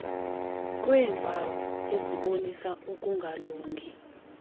kweempawu ezibonisa ukungalungi